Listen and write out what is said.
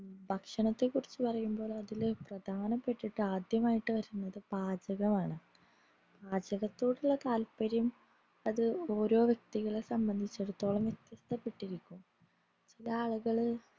ഭക്ഷണത്തെ കുറിച് പറയമ്പോള് അതിൽ പ്രധനപെട്ടിട്ട് ആദ്യമായിട്ട് വരുന്നത് പാചകമാണ് പാചകത്തോടുള്ള താത്പര്യം അത് ഓരോ വ്യക്തികളെ സംബന്ധിച്ചേടത്തോളം വ്യത്യസ്തപ്പെട്ടിരിക്കും ചില ആളുകള്